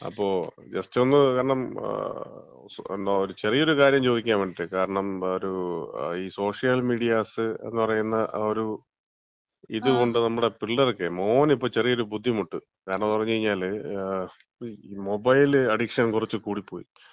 അപ്പൊ, ജസ്റ്റ് ഒന്ന്, കാരണം ഒരു ചെറിയൊരു കാര്യം ചോദിക്കാൻ വേണ്ടിട്ടാണ്. കാരണം ഒരു ഈ സോഷ്യൽ മീഡിയാസ് എന്ന് പറയുന്ന ഒരു ഇത് കൊണ്ട് നമ്മുടെ പിള്ളേർക്കേ, മോന് ഇപ്പം ചെറിയൊരു ബുദ്ധിമുട്ട്. കാരണംന്ന് പറഞ്ഞാല് മൊബൈല് അഡിക്ഷൻ കുറച്ച് കൂടിപ്പോയി.